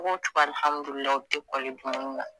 Cogo cogo alihamidulilayi u te kɔli dumuni na